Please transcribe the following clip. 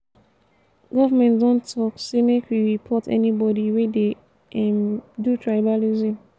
government don talk sey make we report anybodi wey dey um do tribalism.